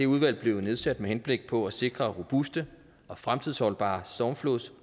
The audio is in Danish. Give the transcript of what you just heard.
udvalg blev jo nedsat med henblik på at sikre robuste og fremtidsholdbare stormflods